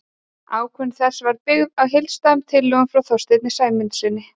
Ákvörðun þessi var byggð á heildstæðum tillögum frá Þorsteini Sæmundssyni.